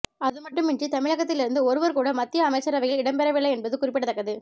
அதுமட்டுமின்றி தமிழகத்தில் இருந்து ஒருவர் கூட மத்திய அமைச்சரவையில் இடம்பெறவில்லை என்பது குறிப்பிடத்தக்கது